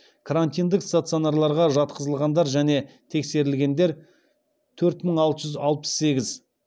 крантиндік стационарларға жатқызылғандар және тексерілдер төрт мың алты жүз алпыс сегіз